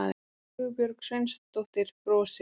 Sigurbjörg Sveinsdóttir brosir.